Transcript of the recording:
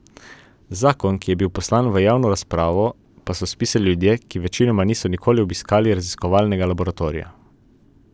Zakon, ki je bil poslan v javno razpravo, pa so spisali ljudje, ki večinoma niso nikoli obiskali raziskovalnega laboratorija.